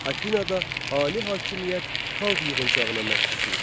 Afinada ali hakimiyyət xalq yığıncağına məxsus idi.